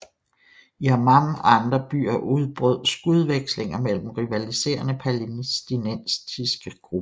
I Amman og andre byer udbrød skudvekslinger mellem rivaliserende palæstinensiske grupper